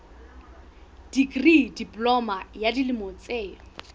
dikri diploma ya dilemo tse